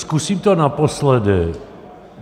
Zkusím to naposledy.